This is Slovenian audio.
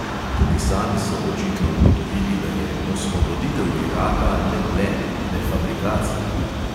Tudi sami so očitno ugotovili, da je "osvoboditev iraka" le blef, le fabrikacija.